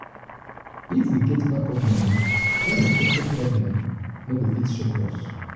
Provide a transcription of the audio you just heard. if we get backup money unexpected problem no go fit shake us.